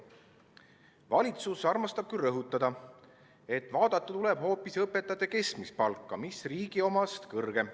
Valitsus armastab küll rõhutada, et vaadata tuleb hoopis õpetajate keskmist palka, mis on riigi keskmisest kõrgem.